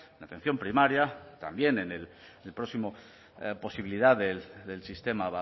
la atención primaria también en el próximo posibilidad del sistema